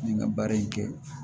N ye n ka baara in kɛ